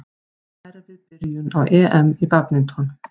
Erfið byrjun á EM í badminton